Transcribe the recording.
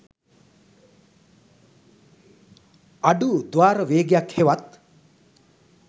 අඩු ද්වාර වේගයක් හෙවත්